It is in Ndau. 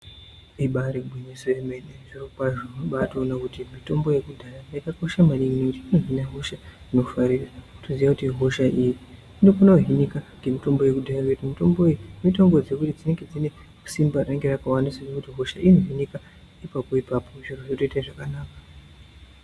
Ibaari gwinyiso yemene , zvirokwazvo unobaatoone kuti mitombo yekudhaya yakakosha maningi ngekuti inozvina hosha inofa .Toziva kuti hosha iyi inozvinike ngemutombo yekudhaya ngekuti mutombo iyi inozvine hosha ine simba rakawanda zvekuti hosha iyi inozvinike ipapo ipapo zvotoita zvakanaka.